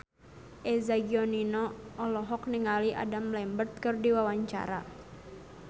Eza Gionino olohok ningali Adam Lambert keur diwawancara